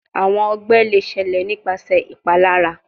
Awọn ọgbẹ le ṣẹlẹ nipasẹ ipalara